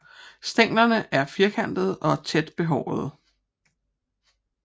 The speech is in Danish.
Stænglerne er firkantede og tæt behårede